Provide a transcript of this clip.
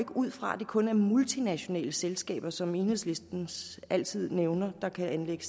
ud fra at det kun er multinationale selskaber som enhedslisten altid nævner der kan anlægge